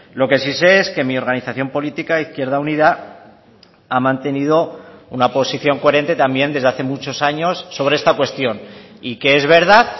lo que sí sé es que mi organización política izquierda unida ha mantenido una posición coherente también desde hace muchos años sobre esta cuestión y que es verdad